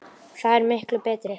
Það er miklu betra.